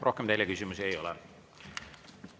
Rohkem teile küsimusi ei ole.